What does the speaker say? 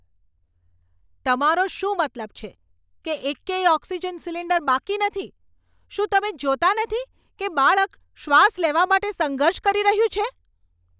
તમારો શું મતલબ છે કે એકેય ઓક્સિજન સિલિન્ડર બાકી નથી? શું તમે જોતાં નથી કે બાળક શ્વાસ લેવા માટે સંઘર્ષ કરી રહ્યું છે?